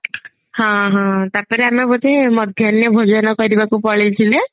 ହଁ ହଁ ତାପରେ ଆମେ ଗୋଟେ ମଧ୍ୟାନ ଭୋଜନ କରିବାକୁ ପଳେଇଥିଲେ